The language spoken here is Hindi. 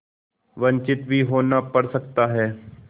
वंचित भी होना पड़ सकता है